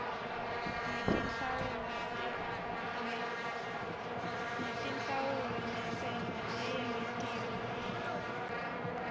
netinhlawulo nentsela leyengetiwe